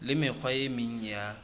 le mekgwa e meng ya